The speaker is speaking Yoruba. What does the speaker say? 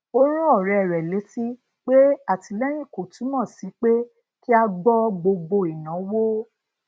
ó rán ọrẹ rẹ létí pé atìlẹyìn kò túmọ sí pé kí a gbọ gbogbo ìnáwó